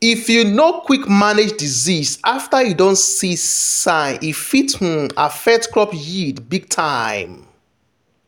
if you no quick manage disease after you don see sign e fit um affect crop yied big time.